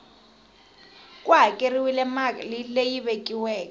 ku hakeriwile mali leyi vekiweke